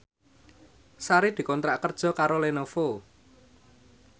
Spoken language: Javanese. Sari dikontrak kerja karo Lenovo